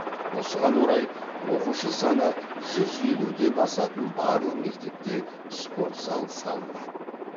осыған орай оқушы саны жүз елуден асатын барлық мектепте спорт зал салынады